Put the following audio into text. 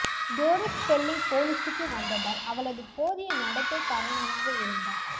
Tory Spelling பொலிசுக்கு வந்ததால் அவளது போதிய நடத்தை காரணமாக இருந்தார்